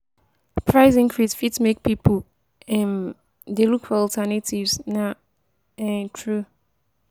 Price increase fit make pipo um dey look for alternatives, na um true.